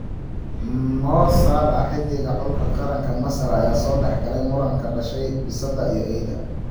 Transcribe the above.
Mo Salah: Xidiga xulka qaranka Masar ayaa soo dhexgalay muran ka dhashay bisadaha iyo Eyda